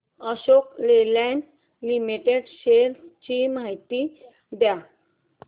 Ashok Leyland limited shares ची माहिती द्या